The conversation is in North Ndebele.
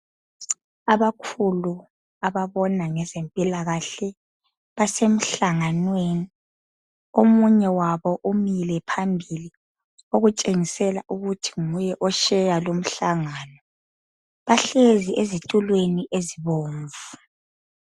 Abakhulu ababona ngezempilakahle babasemhlanganweni , omunye wabo umile phambilii okutsho ukuba nguye otsheya lu mhlangano bahlezi ezitulweni ezibomvu.